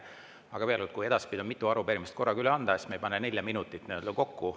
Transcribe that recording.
Aga veel kord, kui edaspidi on mitu arupärimist korraga üle anda, siis me ei pane nelja minutit kokku.